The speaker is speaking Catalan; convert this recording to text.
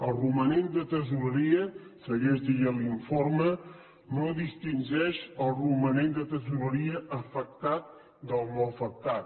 el romanent de tresoreria segueix dient l’informe no distingeix el romanent de tresoreria afectat del no afectat